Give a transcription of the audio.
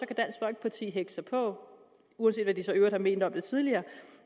kan dansk folkeparti hægte sig på uanset hvad de så i øvrigt har ment om det tidligere